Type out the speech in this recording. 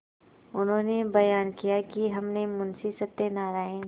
उन्होंने बयान किया कि हमने मुंशी सत्यनारायण